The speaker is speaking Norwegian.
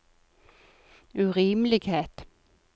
urimelighet